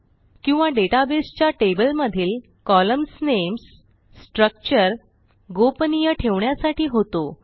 किंवा डेटाबेसच्या टेबलमधील कॉलम्न्स नेम्स स्ट्रक्चर गोपनीय ठेवण्यासाठी होतो